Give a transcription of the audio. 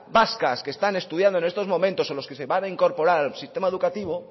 vascas que están estudiando en estos momentos o lo que se van a incorporar al sistema educativo